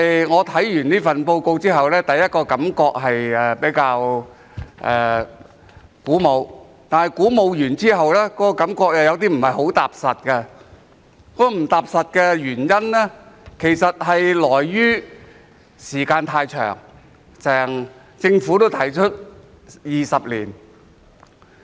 我看完這份施政報告後的第一個感覺是比較鼓舞，但過後又感覺有些不太踏實，原因是時間太長，政府也提出需時20年。